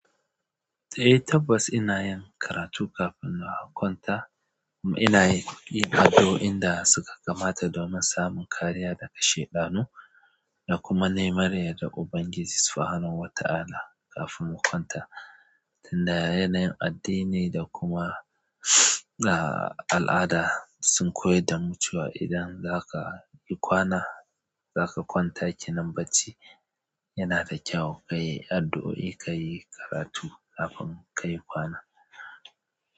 Eh tabbas ina yin karatu kafin in kwanta. Ina yi addu'o'in da suka kamata domin samun kariya daga shaɗanu da kuma neman yardar Ubangiji Subhanahu wa ta'ala kafin mu kwanta. Tun da yanayin addini da kuma al'ada sun koyar da mu cewa idan zaka yi kwana, zaka kwanta, kenan bacci. Yanada kyau kai addu'oi kayi karatu kafin kayi kwana.